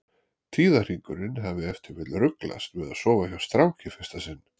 Tíðahringurinn hafi ef til vill ruglast við að sofa hjá strák í fyrsta sinn.